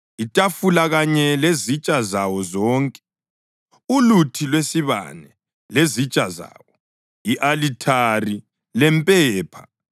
itafula kanye lezitsha zawo zonke, uluthi lwesibane lezitsha zawo, i-alithari lempepha,